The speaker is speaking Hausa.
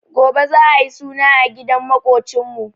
Gobe za'a yi suna a gidan maƙocinmu.